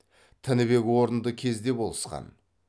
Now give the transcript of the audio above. тінібек орынды кезде болысқан